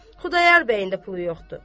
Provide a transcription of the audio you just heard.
Xudayar bəyin də pulu yoxdur.